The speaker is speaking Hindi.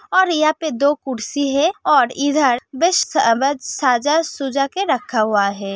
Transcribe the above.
और यहाँ पे दो कुर्सी है और इधर बेस बास सजा सूजा के रखा हुआ है।